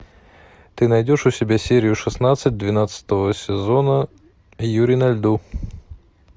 ты найдешь у себя серию шестнадцать двенадцатого сезона юри на льду